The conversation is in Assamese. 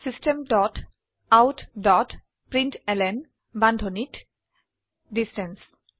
system dot out dot println বান্ধনীত ডিষ্টেন্স